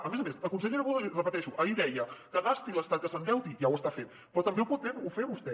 a més a més la consellera budó ho repeteixo ahir deia que gasti l’estat que s’endeuti ja ho està fent però també ho pot fer vostè